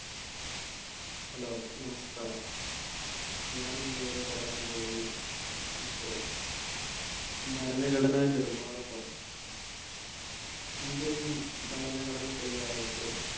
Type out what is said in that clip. Hello നമസ്ക്കാരം. ഞാനിന്നിവിടെ പറയാൻ പോകുന്ന വിഷയം ഭരണഘടനാ നിർമ്മാണ സഭ Indian ഭരണഘടന തയ്യാറാക്കിയത്